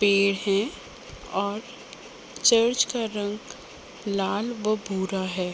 पेड़ है और चर्च का रंग लाल व भूरा है।